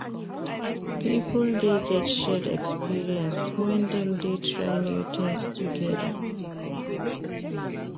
Pipo de get shared experience when dem de try new things together